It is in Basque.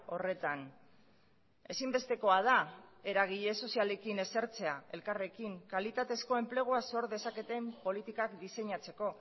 horretan ezinbestekoa da eragile sozialekin esertzea elkarrekin kalitatezko enplegua sor dezaketen politikak diseinatzeko